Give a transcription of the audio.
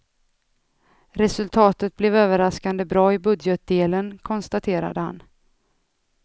Resultatet blev överraskande bra i budgetdelen, konstaterade han.